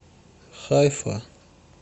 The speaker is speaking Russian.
хайфа